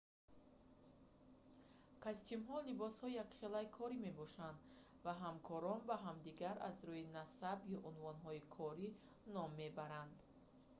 костюмҳо либоси якхелаи корӣ мебошанд ва ҳамкорон ба ҳамдигар аз рӯи насаб ё унвонҳои корӣ ном мебаранд